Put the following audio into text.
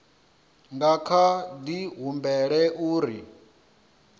nga kha di humbela uri